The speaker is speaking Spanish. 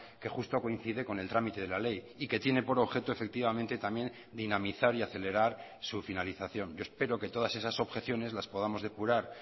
que justo coincide con el trámite de la ley y que tiene por objeto efectivamente también dinamizar y acelerar su finalización yo espero que todas esas objeciones las podamos depurar